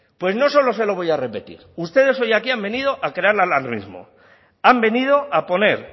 pues no solo se lo voy a repetir ustedes hoy aquí han venido a crear alarmismo han venido a poner